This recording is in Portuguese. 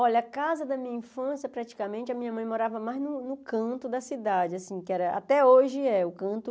Olha, a casa da minha infância, praticamente, a minha mãe morava mais no no canto da cidade, assim, que era até hoje é o canto.